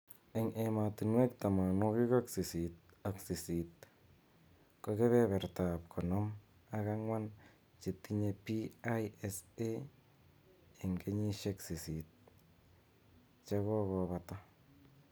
Eng emotunwek 88 ko kebeberta ab konom ak angwan chetinye PISA eng kenyishek sisit chekokobata.